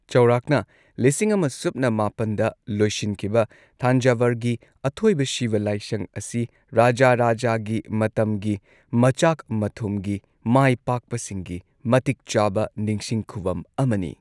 ꯆꯧꯔꯥꯛꯅ ꯂꯤꯁꯤꯡ ꯑꯃ ꯁꯨꯞꯅ ꯃꯥꯄꯟꯗ ꯂꯣꯏꯁꯤꯟꯈꯤꯕ ꯊꯟꯖꯥꯚꯔꯒꯤ ꯑꯊꯣꯏꯕ ꯁꯤꯕ ꯂꯥꯢꯁꯪ ꯑꯁꯤ ꯔꯥꯖꯥꯔꯥꯖꯥꯒꯤ ꯃꯇꯝꯒꯤ ꯃꯆꯥꯛ ꯃꯊꯨꯝꯒꯤ ꯃꯥꯏꯄꯥꯛꯄꯁꯤꯡꯒꯤ ꯃꯇꯤꯛ ꯆꯥꯕ ꯅꯤꯡꯁꯤꯡ ꯈꯨꯚꯝ ꯑꯃꯅꯤ꯫